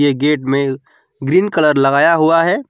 Gate में green colour लगाया हुआ है।